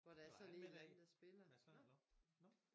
Var han man der? Mads Langer? nå nå